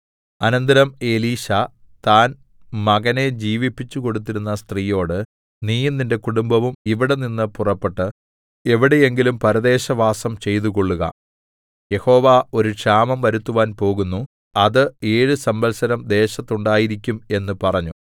അനന്തരം എലീശാ താൻ മകനെ ജീവിപ്പിച്ചുകൊടുത്തിരുന്ന സ്ത്രീയോട് നീയും നിന്റെ കുടുംബവും ഇവിടെനിന്ന് പുറപ്പെട്ട് എവിടെയെങ്കിലും പരദേശവാസം ചെയ്തുകൊള്ളുക യഹോവ ഒരു ക്ഷാമം വരുത്തുവാൻ പോകുന്നു അത് ഏഴു സംവത്സരം ദേശത്ത് ഉണ്ടായിരിക്കും എന്ന് പറഞ്ഞു